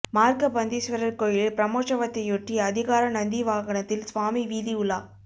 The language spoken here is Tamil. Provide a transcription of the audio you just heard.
மார்கபந்தீஸ்வரர் கோயிலில் பிரமோற்சவத்தையொட்டி அதிகார நந்தி வாகனத்தில் சுவாமி வீதி உலா